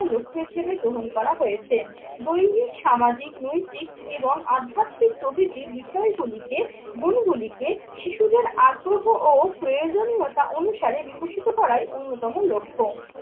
লক্ষ্য হিসেবে গ্রহণ করা হয়েছে। দৈহিক, সামাজিক, নৈতিক এবং আধ্যাত্মিক প্রভৃতির বিষয়গুলিকে, গুণগুলিকে শিশুদের আগ্রহ ও প্রয়োজনীয়তা অনুসারে বিকশিত করাই অন্যতম লক্ষ্য।